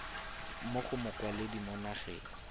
mo go mokwaledi mo nageng